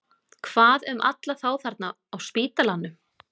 Hvað um alla þá þarna á spítalanum?